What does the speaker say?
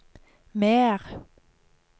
mer